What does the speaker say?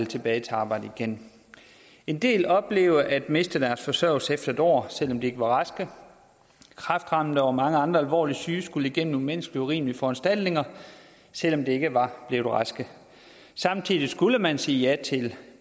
tilbage til arbejdet igen en del oplevede at miste deres forsørgelse efter en år selv om de ikke var raske kræftramte og mange andre alvorligt syge skulle igennem umenneskelige og urimelige foranstaltninger selv om de ikke var blevet raske samtidig skulle man sige ja til